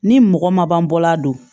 Ni mɔgɔ ma ban bɔla don